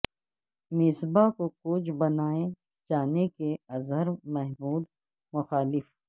مصباح کو کوچ بنائے جانے کے اظہر محمود مخالف